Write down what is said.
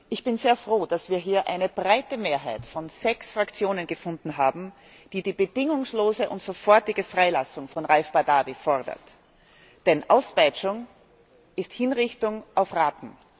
Ich bin sehr froh, dass wir hier eine breite Mehrheit von sechs Fraktionen gefunden haben, die die bedingungslose und sofortige Freilassung von Raif Badawi fordert. Denn Auspeitschung ist Hinrichtung auf Raten!